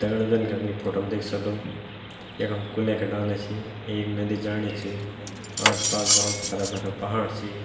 दग्ड़ियों जन कि हम यी फोटो मा देख सक्दो यखम कुलैं का डाला छी एक नदी जाणी च आस पास भोत हरा भरा पहाड़ छी।